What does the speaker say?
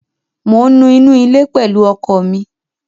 Mò ń nu ilé pẹ̀lú ọkọ mi.